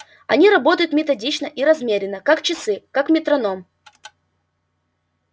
они работают методично и размеренно как часы как метроном